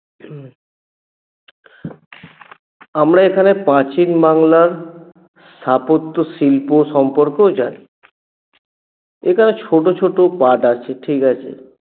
আমরা এখানে প্রাচীন বাংলার স্থাপত্য শিল্প সম্পর্কেও জানি এখানে ছোট ছোট পাঠ আছে ঠিকাছে?